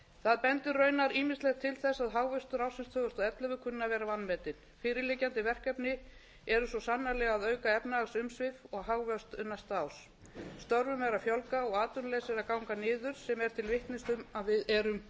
það bendir raunar ýmislegt til þess að hagvöxtur ársins tvö þúsund og ellefu kunni að vera vanmetinn fyrirliggjandi verkefni eru svo sannarlega að auka efnahagsumsvif og hagvöxt næsta árs störfum er að fjölga og atvinnuleysi er að ganga niður sem er til vitnis um að við erum